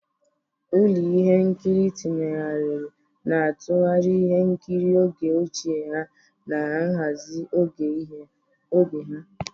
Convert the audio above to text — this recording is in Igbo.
Ụlọ ihe nkiri tinyegharị na-atụgharị ihe nkiri oge ochie na nhazi oge ha.